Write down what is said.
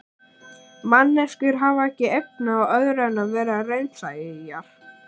Manneskjur hafa ekki efni á öðru en vera raunsæjar.